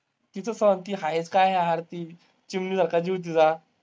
तिचं सोड, ती आहेच काय यार ती. चिमणी सारखा जीव तिचा.